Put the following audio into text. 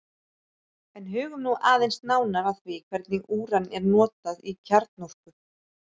en hugum nú aðeins nánar að því hvernig úran er notað í kjarnorku